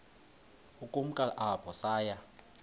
ukumka apho saya